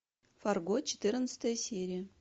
фарго четырнадцатая серия